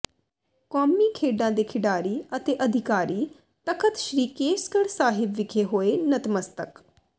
ਕੋਮੀ ਖੇਡਾਂ ਦੇ ਖਿਡਾਰੀ ਅਤੇ ਅਧਿਕਾਰੀ ਤਖਤ ਸ੍ਰੀ ਕੇਸਗੜ ਸਾਹਿਬ ਵਿਖੇ ਹੋਏ ਨਤਮਸਤਕ